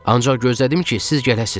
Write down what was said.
Ancaq gözlədim ki, siz gələsiz.